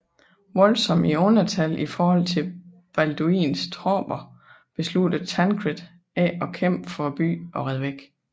Voldsomt i undertal i forhold til Balduins tropper besluttede Tancred ikke at kæmpe for byen og red væk